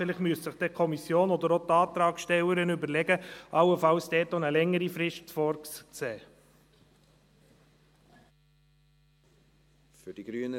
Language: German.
Vielleicht müsste sich die Kommission oder auch die Antragstellerin überlegen, dort allenfalls auch eine längere Frist vorzusehen.